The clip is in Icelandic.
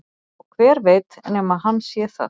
Og hver veit nema hann sé það?